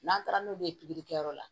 N'an taara n'u bɛ ye pikiri kɛyɔrɔ la